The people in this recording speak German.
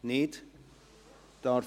– Das ist nicht der Fall.